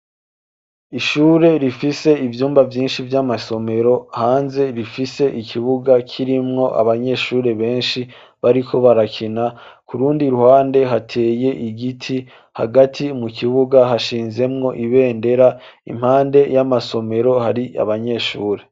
Ishure rifise ivyumba vyinshi vy'amasomero hanze rifise ikibuga kirimwo abanyeshure benshi bariko barakina, ku rundi ruhande hateye igiti hagati mu kibuga hashinzemwo ibendera; impande y'amasomero hari abanyeshure.